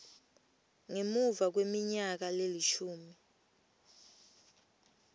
ngemuva kweminyaka lelishumi